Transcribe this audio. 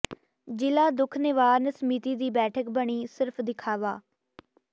ਜ਼ਿਲ੍ਹਾ ਦੁੱਖ ਨਿਵਾਰਨ ਸਮਿਤੀ ਦੀ ਬੈਠਕ ਬਣੀ ਸਿਰਫ਼ ਦਿਖਾਵਾ